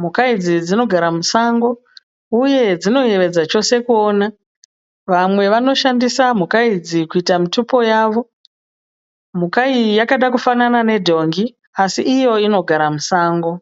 Mhuka idzi dzinogara musango uye dzinoyevedza chose kuona. vamwe vanoshandisa mhuka idzi kuita mutupo yavo. mhuka iyi yakada kufanana nedhongi asi iyo inogara musango